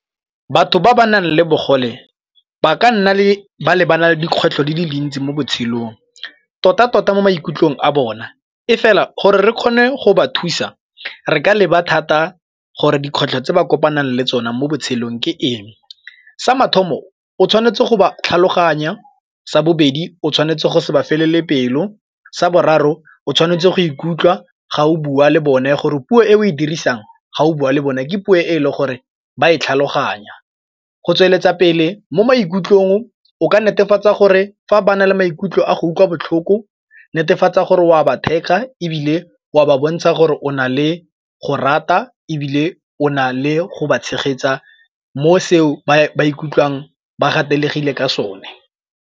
Batho ba ba nang le bogole ba ka nna ba lebana le dikgwetlho di le dintsi mo botshelong tota-tota mo maikutlong a bona, e fela gore re kgone go ba thusa re ka leba thata gore dikgwetlho tse ba kopanang le tsona mo botshelong ke eng. Sa mathomo o tshwanetse go ba tlhaloganya, sa bobedi o tshwanetse go se ba felele pelo, sa boraro o tshwanetse go ikutlwa ga o bua le bone gore puo e o e dirisang ga o bua le bone ke puo e le gore ba e tlhaloganya go tsweletsa pele mo maikutlong o ka netefatsa gore fa ba na le maikutlo a go utlwa botlhoko netefatsa gore wa ba theka ebile o a ba bontsha gore o na le go rata ebile o na le go ba tshegetsa mo seo ba ikutlwang ba gatelegile ka sone.